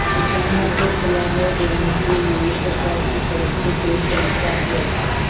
किसानों को सलाह देने के लिए सरकार की तरफ से कोई संस्था है